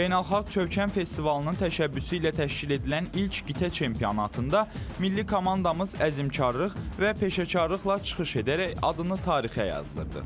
Beynəlxalq Çövkən festivalının təşəbbüsü ilə təşkil edilən ilk qitə çempionatında milli komandamız əzmkarlıq və peşəkarlıqla çıxış edərək adını tarixə yazdırdı.